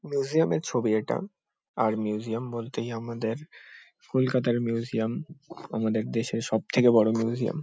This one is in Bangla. মিউজিয়াম - এর ছবি এটা। আর মিউজিয়াম বলতেই আমাদের কলকাতা র মিউজিয়াম আমাদের দেশের সব থেকে বড়ো মিউজিয়াম ।